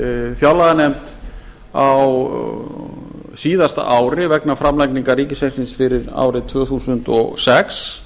fjárlaganefnd á síðasta ári vegna framlagningar ríkisreiknings fyrir árið tvö þúsund og sex